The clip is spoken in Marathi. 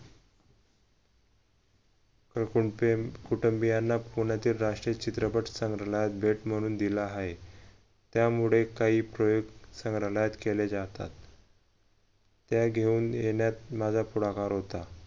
कुटुंबियांना होण्यात राष्ट्रीय चित्रपट संग्रहालयात भेट म्हणून दिला आहे त्यामुळे काही प्रयोग संग्रहालयात केले जातात त्या घेऊन येण्यात माझा पुढाकार होता